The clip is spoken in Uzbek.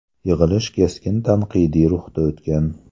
Yig‘ilish keskin tanqidiy ruhda o‘tgan.